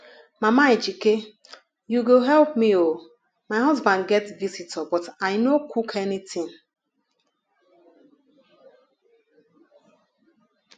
mama ejike you go help me oo my husband get visitor but i no cook anything